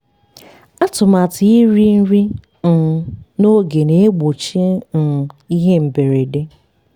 atụmatụ iri nri um n'oge na-egbochi um ihe mberede.